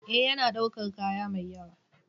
Ee, yana ɗaukar kaya mai yawa.